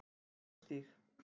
Brekkustíg